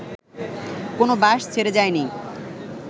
কোনো বাস ছেড়ে যায়নি